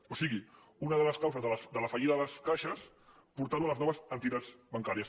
o sigui una de les causes de la fallida de les caixes portar·ho a les no·ves entitats bancàries